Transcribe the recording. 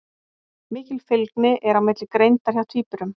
Mikil fylgni er á milli greindar hjá tvíburum.